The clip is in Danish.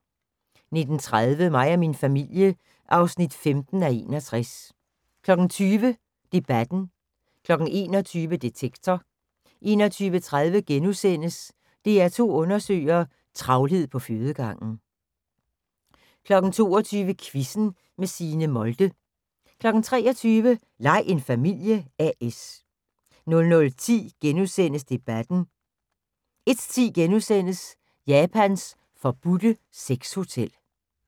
19:30: Mig og min familie (15:61) 20:00: Debatten 21:00: Detektor 21:30: DR2 Undersøger: Travlhed på fødegangen * 22:00: Quizzen med Signe Molde 23:00: Lej en familie A/S 00:10: Debatten * 01:10: Japans forbudte sexhotel *